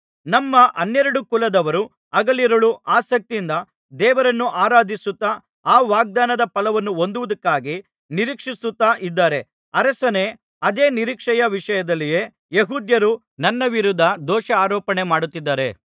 ನಮ್ಮ ಹನ್ನೆರಡು ಕುಲದವರು ಹಗಲಿರುಳು ಆಸಕ್ತಿಯಿಂದ ದೇವರನ್ನು ಆರಾಧಿಸುತ್ತಾ ಆ ವಾಗ್ದಾನದ ಫಲವನ್ನು ಹೊಂದುವುದಕ್ಕಾಗಿ ನಿರೀಕ್ಷಿಸುತ್ತಾ ಇದ್ದಾರೆ ಅರಸನೇ ಅದೇ ನಿರೀಕ್ಷೆಯ ವಿಷಯದಲ್ಲಿಯೇ ಯೆಹೂದ್ಯರು ನನ್ನ ವಿರುದ್ಧ ದೋಷಾರೋಪಣೆಮಾಡುತ್ತಿದ್ದಾರೆ